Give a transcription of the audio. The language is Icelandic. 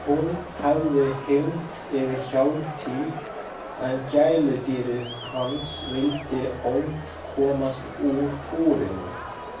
Hún hafði hylmt yfir Hjálmtý en gæludýrið hans vildi ólmt komast úr búrinu.